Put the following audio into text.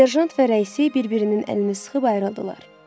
Serjant və rəisi bir-birinin əlini sıxıb ayrıldılar.